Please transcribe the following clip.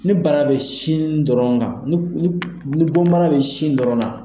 Ni bana bɛ sin dɔrɔn na, ni bɔn bana bɛ sin dɔrɔn na.